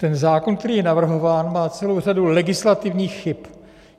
Ten zákon, který je navrhován, má celou řadu legislativních chyb.